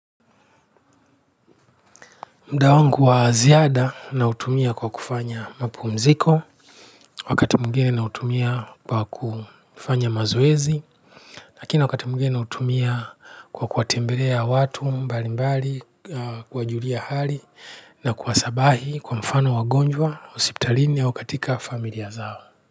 Mda wangu wa ziada nautumia kwa kufanya mapumziko, wakati mwingine nautumia kwa kufanya mazoezi, lakini wakati mwingine nautumia kwa kuwatembelea watu mbali mbali, kuwajulia hali na kuwasabahi kwa mfano wagonjwa, hosiptalini au katika familia zao.